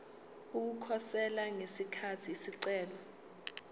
ukukhosela ngesikhathi isicelo